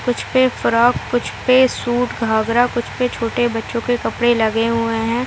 कुछ पे फ्रॉक कुछ पे सूट घाघरा और कुछ पे छोटे बच्चो के कपड़े लगे हुए हैं ।